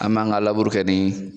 An m'an ka laburu kɛ ni